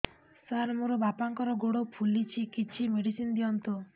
ସାର ମୋର ବାପାଙ୍କର ଗୋଡ ଫୁଲୁଛି କିଛି ମେଡିସିନ ଦିଅନ୍ତୁ